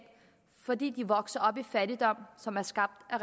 fordi de vokser op i fattigdom som er skabt af